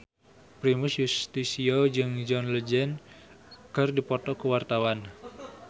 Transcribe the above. Primus Yustisio jeung John Legend keur dipoto ku wartawan